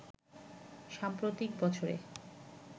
সাম্প্রতিক বছরে